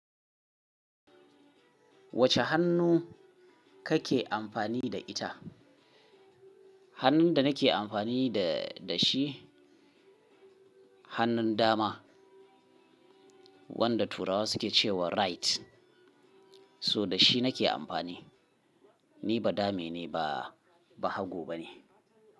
Wacce hannu kake amfani da ita? Hannun da nake amfani da shi, hannun dama, wanda Turawa suke cewa right. So da shi nake amfani. Ni badame ne ba, bahago ba ne.